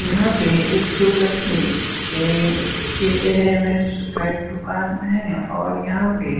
यहां पे एक शुभ लक्ष्मी ए के का एक दुकान हैं और यहां पे --